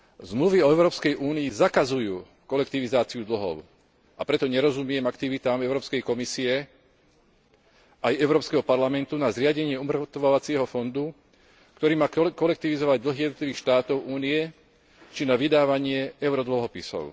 Zmluvy o Európskej únii zakazujú kolektivizáciu dlhov, a preto nerozumiem aktivitám Európskej komisie aj Európskeho parlamentu na zriadenie umŕtvovacieho fondu, ktorý má kolektivizovať dlhy jednotlivých štátov Únie, či na vydávanie eurodlhopisov.